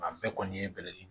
A bɛɛ kɔni ye bɛlɛnin de ye